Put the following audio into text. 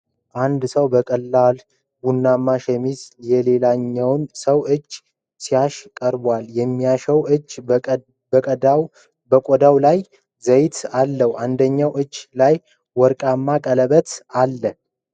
አንድ ሰው በቀላል ቡናማ ሸሚዝ የሌላውን ሰው እጅ ሲያሻሽ ቀርቧል፡፡ የሚታሸው እጅ በቆዳው ላይ ዘይት አለው፡፡ አንደኛው እጅ ላይ ወርቃማ ቀለበት አለ፡፡